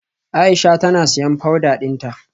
Aisha tana siyan powder dinta.